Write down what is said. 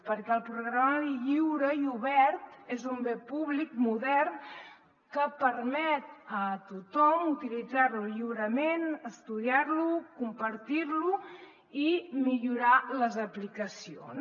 perquè el programari lliure i obert és un bé públic modern que permet a tothom utilitzar lo lliurement estudiar lo compartir lo i millorar ne les aplicacions